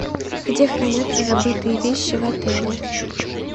где хранятся забытые вещи в отеле